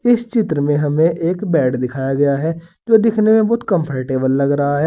इस चित्र में हमें एक बैड दिखाया गया है जो दिखने में बहुत कंफोर्टेबल लग रहा है।